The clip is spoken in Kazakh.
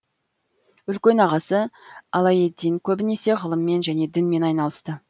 үлкен ағасы алаеддин көбінесе ғылыммен және дінмен айналысты